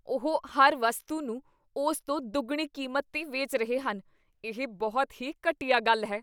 ਉਹ ਹਰ ਵਸਤੂ ਨੂੰ ਉਸ ਤੋਂ ਦੁੱਗਣੀ ਕੀਮਤ 'ਤੇ ਵੇਚ ਰਹੇ ਹਨ। ਇਹ ਬਹੁਤ ਹੀ ਘਟੀਆ ਗੱਲ ਹੈ।